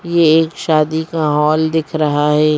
ये एक शादी का हॉल दिख रहा है ।